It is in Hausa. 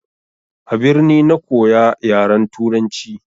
A birni na koya yaran turanci.